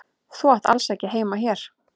Þú átt alls ekki heima hér.